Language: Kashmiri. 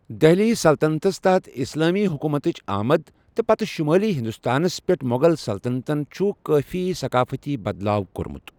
دہلی سلطنتَس تحت اسلٲمی حکومتٕچ آمد تہٕ پتہٕ شُمٲلی ہندوستانَس پٮ۪ٹھ مۄغل سلطنتَن چھُ کٲفی ثقافتی بدلاو کوٚرمُت۔